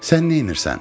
Sən neynirsən?